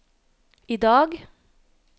idag